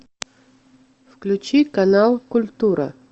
включи канал культура